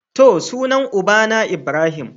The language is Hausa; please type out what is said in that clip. To, sunan ubana Ibrahim.